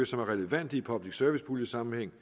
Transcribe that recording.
som er relevante i public service pulje sammenhæng